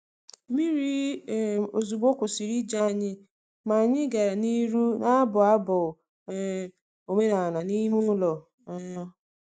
Mmiri um ozugbo kwụsịrị ije anyị, ma anyị gara n’ihu na-abụ abụ um omenala n’ime ụlọ. um